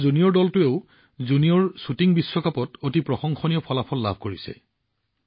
আমাৰ জুনিয়ৰ দলটোৱেও junior shooting বিশ্বকাপত আচৰিত কাম কৰি দেখুৱালে